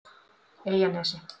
Eyjanesi